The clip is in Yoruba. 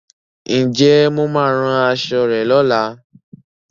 Ǹjẹ́ Mo máa rán aṣọ rẹ lola